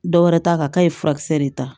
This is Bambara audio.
Dɔwɛrɛ t'a kan k'a ye furakisɛ de ta